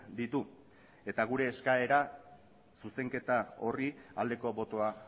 ditu eta gure eskaera zuzenketa horri aldeko botoa